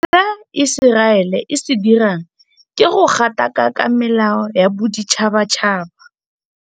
Se Iseraele e se dirang ke go gatakaka melao ya boditšhabatšhaba.